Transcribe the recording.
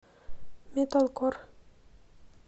металкор